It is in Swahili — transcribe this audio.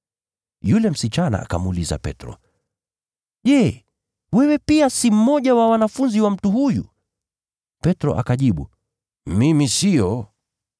Yule msichana akamuuliza Petro, “Je, wewe pia si mmoja wa wanafunzi wa mtu huyu?” Petro akajibu, “Sio mimi.”